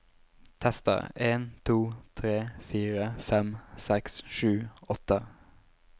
Tester en to tre fire fem seks sju åtte